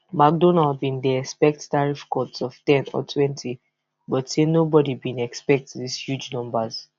mcdonald bin dey expect tariff cuts of ten or twenty but say nobody bin expect these huge numbers